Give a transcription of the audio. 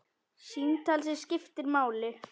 Símtal sem skiptir máli